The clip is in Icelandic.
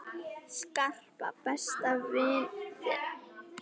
Skarpa, besta vin þinn!